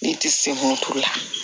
Ne ti se kun t'o la